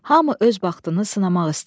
Hamı öz baxtını sınamaq istəyirdi.